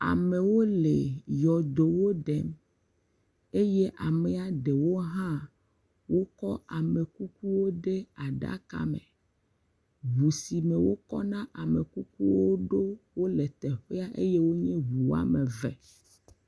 Amewo le yɔdowo ɖem eye amea ɖewo hã wokɔ amekukuwo de aɖaka me, ŋu si me wokɔna amekukuwo ɖo wole teƒe ya eye wonye ŋu woame eve.